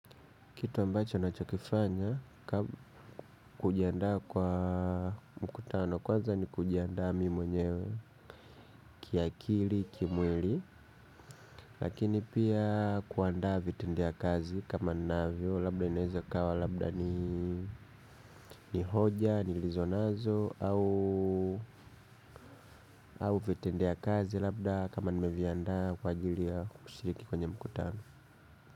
Kitu ambacho nachokifanya kujiandaa kwa mkutano kwanza ni kujiandaa mi mwenyewe kiakili kimwili. Lakini pia kuandaa vitendea kazi kama ninavyo labda inaeza ikawa labda ni hoja nilizo nazo au vitendea kazi labda kama nimeviandaa kwa ajili ya kushiriki kwenye mkutano.